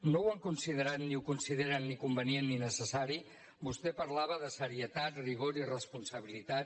no ho han considerat ni ho consideren ni convenient ni necessari vostè parlava de seriositat rigor i responsabilitat